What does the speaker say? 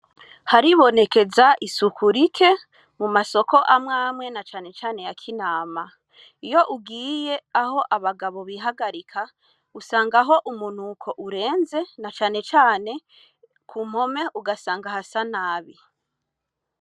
Haribonekeza isuku rike mu masoko amwe mwe na cane cane ya Kinama. Iyo ugiye aho abagabo bihagarika, usangaho umunuko urenze, na cane cane ku mpome ugasanga hasa nabi.